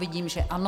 Vidím, že ano.